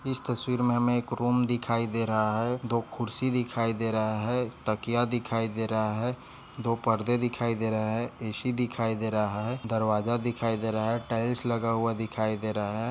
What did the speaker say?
इस तस्वीर मे हमे एक रूम दिखाई दे रहा है। दो खुर्सी दिखाई दे रहे है। तकिया दिखाई दे रहा है। दो पड़दे दिखाई दे रहे है। ए_सी दिखाई दे रहा है। दरवाजा दिखाई दे रहा है। टाइल्स लगा हुआ दिखाई दे रहा है।